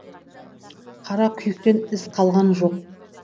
қара күйіктен із қалған жоқ